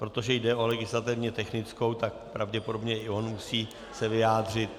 Protože jde o legislativně technickou, tak pravděpodobně i on se musí vyjádřit.